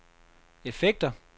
effekter